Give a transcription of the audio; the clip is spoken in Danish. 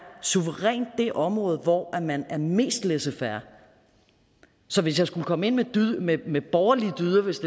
suverænt det område hvor man er mest laissez faire så hvis jeg skulle komme ind med borgerlige dyder hvis